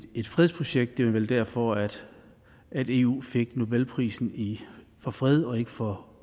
et fredsprojekt det var vel derfor eu fik nobelprisen for fred og ikke for